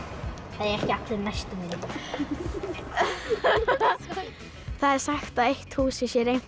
það eiga ekki allir næstum vini það er sagt að eitt húsið sé reimt